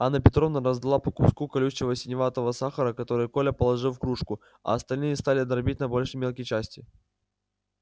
анна петровна раздала по куску колючего синеватого сахара который коля положил в кружку а остальные стали дробить на большие мелкие части